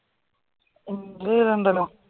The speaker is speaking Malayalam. ക്ലിയർ ഉണ്ടല്ലോ